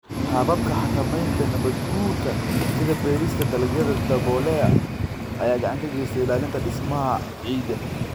Hababka xakamaynta nabaadguurka, sida beerista dalagyada daboolaya, ayaa gacan ka geysta ilaalinta dhismaha ciidda.